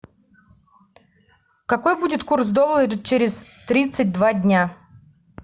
какой будет курс доллара через тридцать два дня